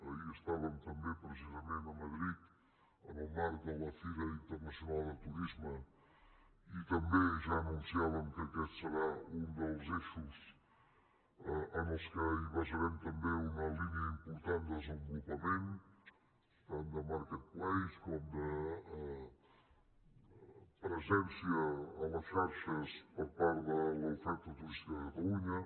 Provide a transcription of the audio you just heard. ahir estàvem també precisament a madrid en el marc de la fira internacional de turisme i també ja anunciàvem que aquest serà un dels eixos en els quals basarem també una línia important de desenvolupament tant de marketplaceper part de l’oferta turística de catalunya